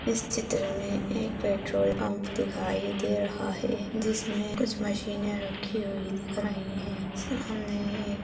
इस चित्र मे एक पेट्रोल पम्प दिखाई दे रहा है जिसमे कुछ मशीनें रखी हुई दिख रही है सामने एक --